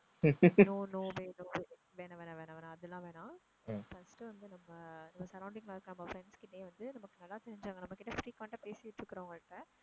no no way no way வேணாம் வேணாம் வேணாம் வேணாம் அதெல்லாம் வேணாம் first வந்து நம்ம surrounding ல இருக்க நம்ம friends கிட்டயே வந்து நமக்கு நல்லா தெரிஞ்சவங்களை நம்ம கிட்ட frequent ஆ பேசிட்டு இருக்குறவங்க கிட்ட